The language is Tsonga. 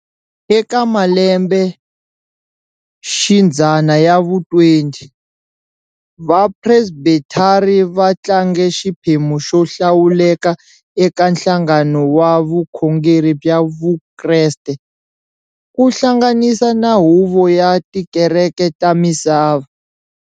Eka malembexidzana ya vu 20, va Presbethari va tlange xiphemu xo hlawuleka eka nhlangano wa vukhongeri bya vukreste, kuhlanganisa na huvo ya tikereke ta misava.